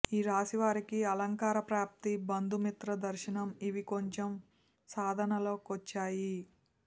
ఈ రాశివారికి అలంకార ప్రాప్తి బంధుమిత్ర దర్శనం ఇవి కొంచెం సాధనలో కొచ్చాయి